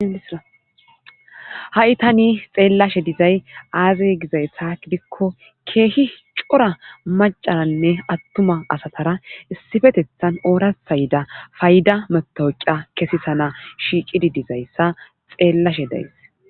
Hay tani xeelashe dizay aze gizayssa gidikko keehi cora maccane atuma asara issipetethan ooratha yida payda matawuqiya kesisanawu shiiqidi dizayssa xeelashe de'ays.